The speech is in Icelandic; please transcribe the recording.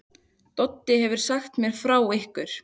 Doddi hefur sagt mér frá ykkur.